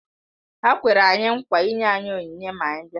Ha kwere anyị nkwa ịnye anyị onyinye ma anyị bịa